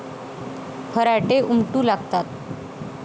फराटे उमटू लागतात.